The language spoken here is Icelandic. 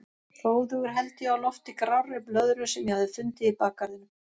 Hróðugur held ég á lofti grárri blöðru sem ég hafði fundið í bakgarðinum.